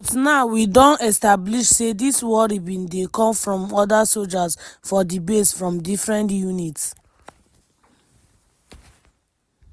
but now we don establish say dis worry bin dey come from oda sojas for di base from different units.